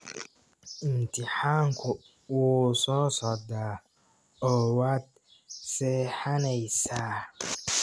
Imtixaanku wuu soo socdaa, oo waad seexanaysaa.